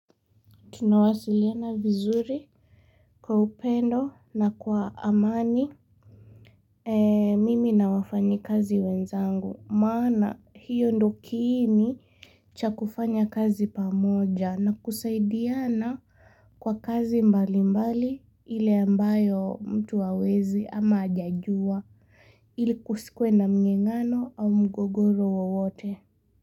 Tunawasiliana vizuri kwa upendo na kwa amani mimi na wafanyi kazi wenzangu. Maana hiyo ndo kiini cha kufanya kazi pamoja na kusaidiana kwa kazi mbali mbali ile ambayo mtu hawezi ama hajajua ili kusikwe na mngengano au mgogoro wote.